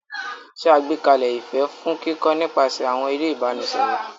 Ṣe àgbékalẹ̀ ìfẹ́ fún kíkọ́ nípasẹ̀ àwọn eré ìbánisọ̀rọ̀.